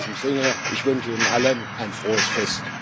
In diesem Sinne Ich wünsche Ihnen allen ein frohes Fest.